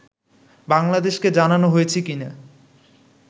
বাংলাদেশকে জানানো হয়েছে কি না